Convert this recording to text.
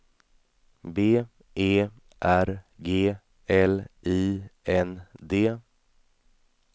B E R G L I N D